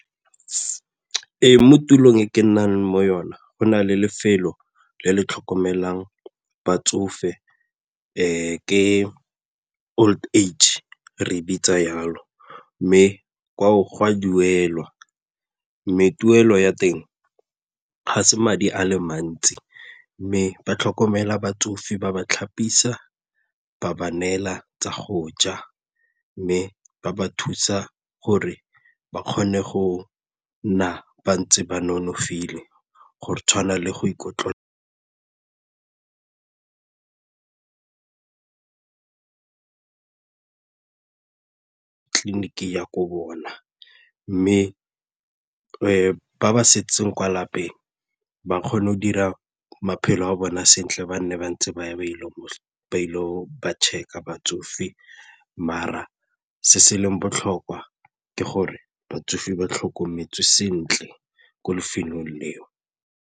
Ee, mo tulong e ke nnang mo yona go na le lefelo le le tlhokomelang batsofe ke old age re e bitsa jalo mme go a duela mme tuelo ya teng ga se madi a le mantsi mme ba tlhokomela batsofe ba ba tlhapisa, ba ba neela tsa go ja mme ba ba thusa gore ba kgone go nna ba ntse ba nonofile gore tshwana le go ko bona mme ba ba setseng kwa lapeng ba kgone go dira maphelo a bone sentle ba nne ba ntse ba ile govba check-a batsofe mara se se leng botlhokwa ke gore batsofe ba tlhokometswe sentle ko lefelong eo.